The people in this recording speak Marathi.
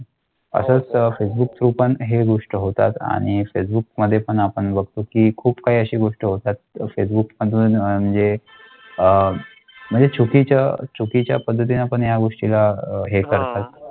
गोष्ट होतात आणि फेसबुकमध्ये पण आपण बघतो की खूप काही अशी गोष्ट होतात. फेसबुक म्हणजे अह म्हणजे चुकीच्या चुकीच्या पद्धतीने पण या गोष्टीचं आहे करा.